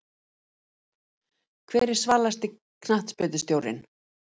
Hver er svalasti knattspyrnustjórinn?